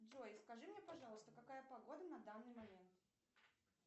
джой скажи мне пожалуйста какая погода на данный момент